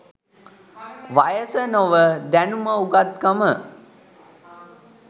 වයස නොව දැනුම උගත්කම